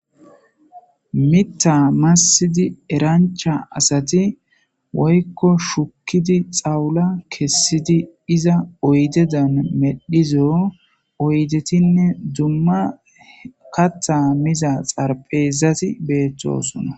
Mita massidi erancha asati woykko shukkidi xawula kessidi iza oydedan medhizo oydetinne dumma katha miza xarphezati beeththosona